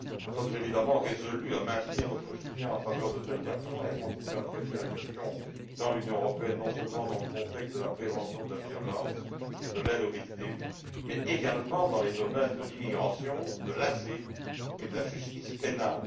Nous sommes évidemment résolus à maintenir notre soutien en faveur de telles actions et à continuer de traiter la question au sein de l'Union européenne, non seulement dans le contexte de la prévention de la violence et de l'aide aux victimes, mais également dans les domaines de l'immigration, de l'asile et de la justice pénale.